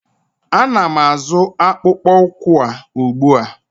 Ana m azụ akpụkpọ ụkwụ a ugbu a.